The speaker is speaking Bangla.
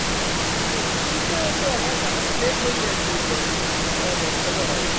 আমার আমার তো late হয়েই যায় একটু আধটু। এ দশটা তো হয়ই।